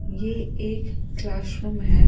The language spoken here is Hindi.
ये एक क्लासरूम है।